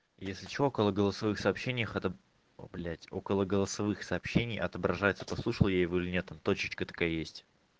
если что около голосовых сообщениях это блять около голосовых сообщений отображается послушал я его или нет там точечка такая есть